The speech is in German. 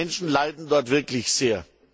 Die Menschen leiden dort wirklich sehr.